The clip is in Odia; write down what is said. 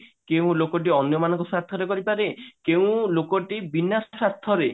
କେଉଁ ଲୋକଟି ଅନ୍ୟ ମାନଙ୍କ ସ୍ଵାର୍ଥ ରେ କରିପାରେ କେଉଁ ଲୋକଟି ବିନା ସ୍ଵାର୍ଥରେ